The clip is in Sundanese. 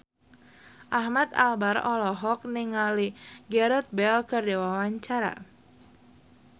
Ahmad Albar olohok ningali Gareth Bale keur diwawancara